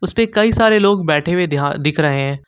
उस पे कई सारे लोग बैठे हुए यहां दिख रहे हैं।